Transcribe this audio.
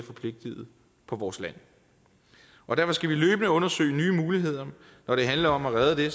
vores land og derfor skal vi løbende undersøge nye muligheder når det handler om at redde det